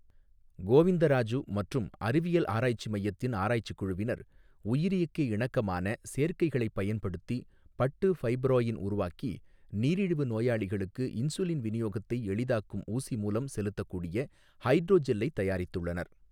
கோவிந்தராஜு மற்றும் அறிவியல் ஆராய்ச்சி மையத்தின் ஆராய்ச்சி குழுவினர், உயிரியக்க இணக்கமான சேர்க்கைகளைப் பயன்படுத்தி பட்டு ஃபைப்ரோயின் உருவாக்கி, நீரிழிவு நோயாளிகளுக்கு இன்சுலின் விநியோகத்தை எளிதாக்கும் ஊசி மூலம் செலுத்தக்கூடிய ஹைட்ரோஜெல்லை தயாரித்துள்ளனர்.